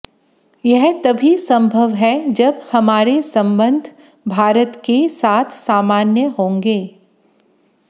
यह तभी संभव है जब हमारे संबंध भारत के साथ सामान्य होंगे